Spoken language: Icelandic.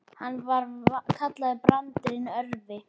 Hann var kallaður Brandur hinn örvi.